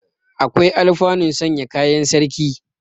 Akwai alfanu sanya kayan sarki.